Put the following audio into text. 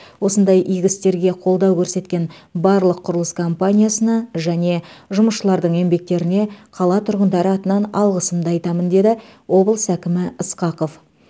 осындай игі істерге қолдау көрсеткен барлық құрылыс компаниясына және жұмысшылардың еңбектеріне қала тұрғындары атынан алғысымды айтамын деді облыс әкімі ысқақов